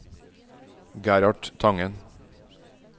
Gerhard Tangen